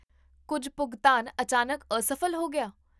ਕੁੱਝ ਭੁਗਤਾਨ ਅਚਾਨਕ ਅਸਫ਼ਲ ਹੋ ਗਿਆ?